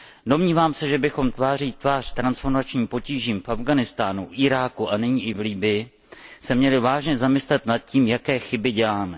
Domnívám se, že bychom se tváří v tvář transformačním potížím v Afghánistánu, Iráku a nyní i v Libyi měli vážně zamyslet nad tím, jaké chyby děláme.